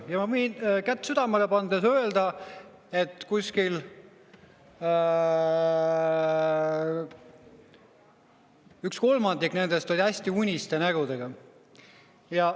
Ja ma võin kätt südamele pannes öelda, et umbes üks kolmandik oli hästi uniste nägudega.